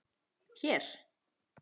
Hér?